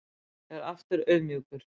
Er aftur auðmjúkur